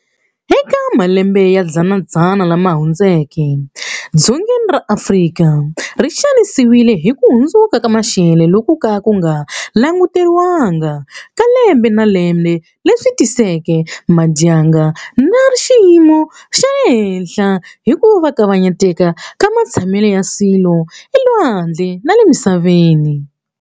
Eka malembe ya dzana lama hundzeke, dzongeni ra Afrika ri xanisiwile hi ku hundzuka ka maxelo loku ko ka ku nga languteriwanga ka lembe na lembe leswi tiseke madyandza ra xiyimo xa le henhla ni ku kavanyeteka ka matshamelo ya swilo elwandle na le misaveni.